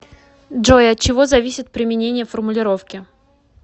джой от чего зависит применение формулировки